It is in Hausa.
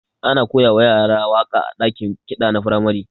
Ana koyawa yara waka a dakin ƙida na firamare.